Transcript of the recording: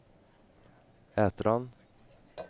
Ätran